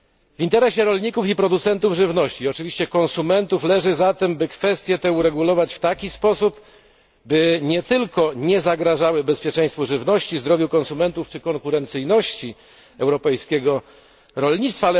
W interesie rolników, producentów żywności i konsumentów leży zatem, aby te kwestie uregulować w taki sposób, aby nie tylko nie zagrażały bezpieczeństwu żywności, zdrowiu konsumentów czy konkurencyjności europejskiego rolnictwa.